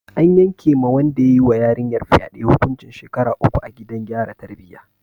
An yanke ma wanda ya yi wa yarinyar fyade hukuncin shekaru uku a gidan gyara tarbiyya.